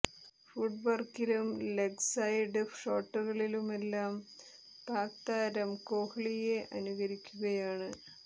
ഫുട് വർക്കിലും leg side ഷോട്ടുകളിലുമെല്ലാം പാക് താരം കോഹ്ലിയെ അനുകരിക്കുകയാണ്